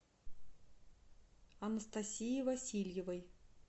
анастасии васильевой